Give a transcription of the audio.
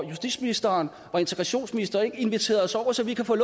justitsministeren og integrationsministeren ikke inviteret os over så vi kan få